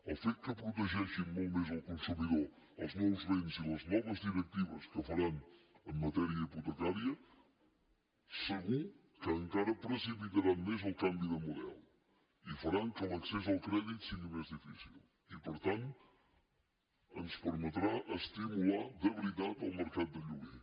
el fet que protegeixin molt més el consumidor els nous vents i les noves directives que faran en matèria hipotecària segur que encara precipita rà més el canvi de model i farà que l’accés al crèdit sigui més difícil i per tant ens permetrà estimular de veritat el mercat de lloguer